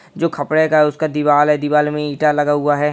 जो खपड़े का है उसका दीवाल है दीवाल में ईंटा लगा हुआ है।